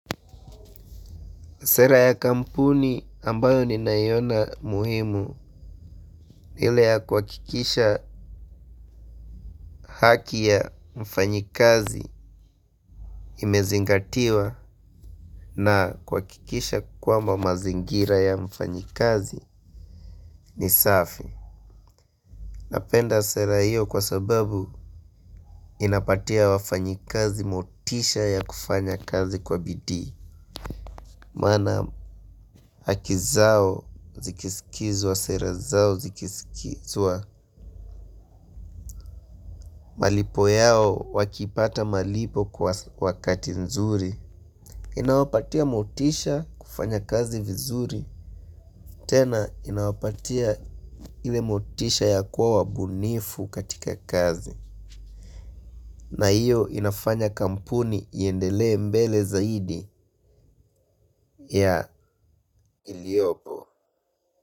Sera ya kampuni ambayo ni nayona muhimu hile ya kwa kikisha haki ya mfanyikazi imezingatiwa na kwa kikisha kwamba mazingira ya mfanyikazi ni safi. Napenda sera hiyo kwa sababu inapatia wafanyikazi motisha ya kufanya kazi kwa bidii. Mana hakizao zikisikizwa sera zao zikisikizwa malipo yao wakipata malipo kwa wakati nzuri. Inawapatia motisha kufanya kazi vizuri. Tena inawapatia ile motisha ya kuwa wabunifu katika kazi. Na iyo inafanya kampuni iyendele mbele zaidi ya iliopo.